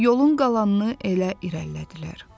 Yolun qalanını elə irəlilədilər.